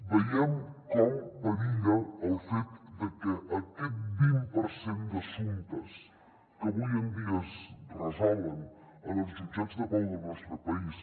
veiem com perilla el fet de que aquest vint per cent d’assumptes que avui en dia es resolen en els jutjats de pau del nostre país